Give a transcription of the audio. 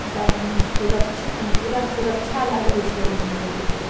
बाहर में सुरक्षा पुरा सुरक्षा लागल छै एमे लगे छै।